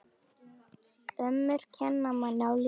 Ömmur kenna manni á lífið.